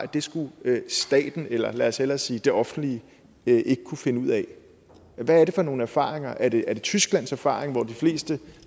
det skulle staten eller lad os hellere sige det offentlige ikke kunne finde ud af hvad er det for nogle erfaringer er det tysklands erfaring hvor de fleste